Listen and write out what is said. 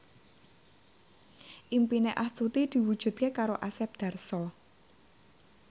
impine Astuti diwujudke karo Asep Darso